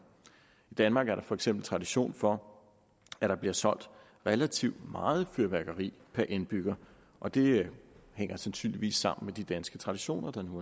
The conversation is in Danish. i danmark er der for eksempel tradition for at der bliver solgt relativt meget fyrværkeri per indbygger og det hænger sandsynligvis sammen med de danske traditioner der nu